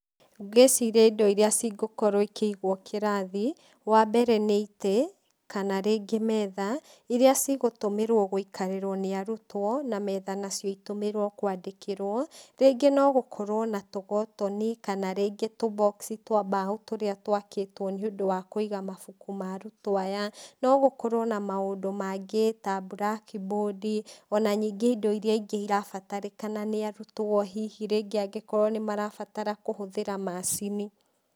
Ngĩciria indo iria cingĩkorwo ikĩigwo kĩrathi, wa mbere nĩ itĩ, kana rĩngĩ metha, iria cigũtũmĩrwo gũikarĩrwo nĩ arutwo na metha nacio itũmĩrwo kwandĩkĩrwo, rĩngĩ no gũkorwo na tũkotoni, kana rĩngĩ tũ box twa mbaũ tũrĩa twakĩtwo nĩũndũ wa kũiga mabuku ma arutwo aya, no gũkorwo na maũndũ mangĩ ta blackboard, o na ningĩ indo irĩa ingĩ irabatarĩkana nĩ arutwo, hihi rĩngĩ angĩkorwo nĩmarabatara kũhũthĩra macini.